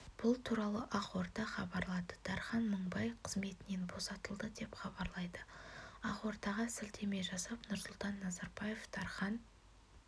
бұл туралы ақорда хабарлады дархан мыңбай қызметінен босатылды деп хабарлайды ақордаға сілтеме жасап нұрсұлтан назарбаев дархан